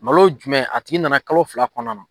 Malo jumɛn a tigi nana kalo fila kɔnɔna na.